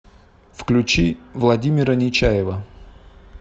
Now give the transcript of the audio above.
включи владимира нечаева